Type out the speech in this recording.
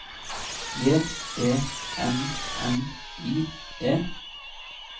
J E N N I E